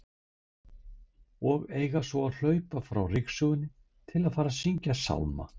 Og eiga svo að hlaupa frá ryksugunni til að fara að syngja sálma!